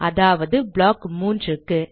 அதாவது ப்ளாக் 3 க்கு